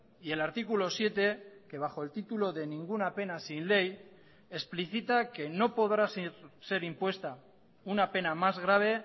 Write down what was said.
y el artículo siete que bajo el título de ninguna pena sin ley explicita que no podrá ser impuesta una pena más grave